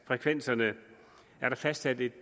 frekvenserne er der fastsat et